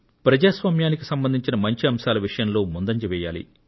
ప్రజాస్వామ్యానికి సంబంధించిన మంచి అంశాల విషయంలో ముందంజ వేయాలి